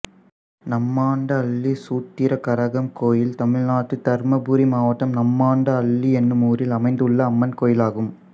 நம்மாண்ட அள்ளி சூத்திர கரகம் கோயில் தமிழ்நாட்டில் தர்மபுரி மாவட்டம் நம்மாண்ட அள்ளி என்னும் ஊரில் அமைந்துள்ள அம்மன் கோயிலாகும்